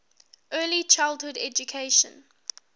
early childhood education